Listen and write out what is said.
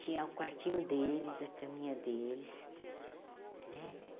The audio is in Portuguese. tinha o quartinho deles, a caminha deles né.